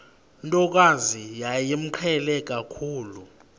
ntokazi yayimqhele kakhulu